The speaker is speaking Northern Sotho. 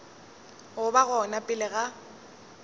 go ba gona pele ga